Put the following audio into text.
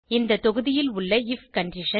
அந்த தொகுதியில் உள்ள ஐஎஃப் கண்டிஷன்